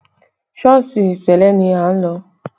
Sọ́ọ̀sì ṣẹlẹ ni a lọ